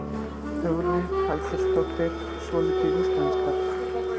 Hugrún Halldórsdóttir: Svolítið íslenskar?